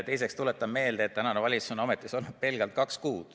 Teiseks, tuletan meelde, et tänane valitsus on ametis olnud pelgalt kaks kuud.